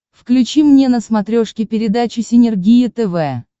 включи мне на смотрешке передачу синергия тв